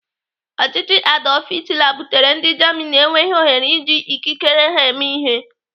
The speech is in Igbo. Ọchịchị Adolf Hitler butere ndị Germany enweghị ohere iji ikikere ha eme ihe.